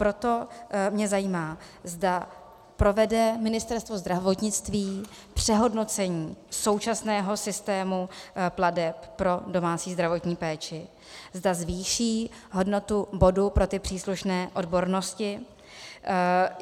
Proto mě zajímá, zda provede Ministerstvo zdravotnictví přehodnocení současného systému plateb pro domácí zdravotní péči, zda zvýší hodnotu bodů pro ty příslušné odbornosti.